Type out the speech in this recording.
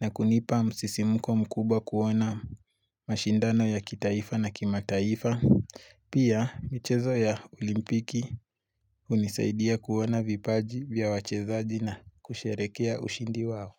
na kunipa msisimuko mkubwa kuona mashindano ya kitaifa na kimataifa. Pia michezo ya olimpiki unisaidia kuona vipaji vya wachezaji na kusherekea ushindi wao.